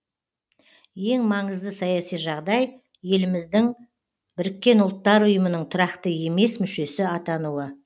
ең маңызды саяси жағдай еліміздің біріккен ұлттар ұйымының тұрақты емес мүшесі атануы